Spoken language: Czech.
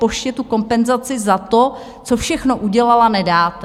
Poště tu kompenzaci za to, co všechno udělala, nedáte?